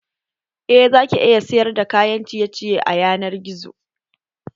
Eh, zaki iya sayar da kayan ciye ciye a yanar gizo